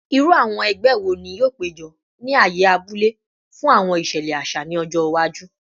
Iru awọn ẹgbẹ wo ni yoo pejọ ni aaye abule fun awọn iṣẹlẹ aṣa ni ọjọ iwaju?